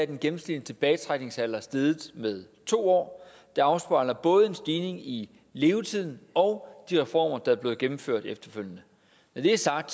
den gennemsnitlige tilbagetrækningsalder steget med to år det afspejler både en stigning i levetiden og de reformer der er blevet gennemført efterfølgende når det er sagt